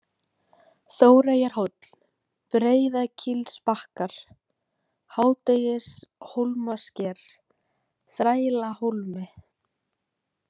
Þóreyjarhóll, Breiðakílsbakkar, Hádegishólmasker, Þrælahólmi